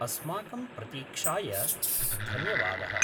अस्माकं प्रतीक्षाय धन्यवादः।